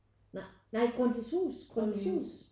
Nej Grundtvigs Hus Grundtvigs Hus